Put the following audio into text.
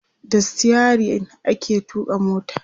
da sitayirin ake tuƙa mota